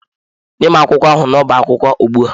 Nye m akwụkwọ ahụ n'ọbá akwụkwọ ugbu a!